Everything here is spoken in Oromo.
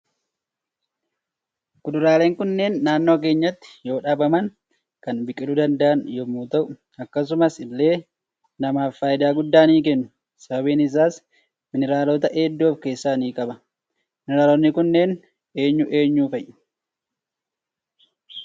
Kuduraaleen kunneen naannoo keenyatti yoo dhaabaman kan biqiluu danda'an yommuu ta'u akkasumas ille namaaf faayida guddaa ni kennu sababiin isaas mineraalota heddu of keessatti ni qaba mineraalonni kunneen eenyu eenyu fa'i?